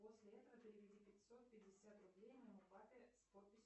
после этого переведи пятьсот пятьдесят рублей моему папе с подписью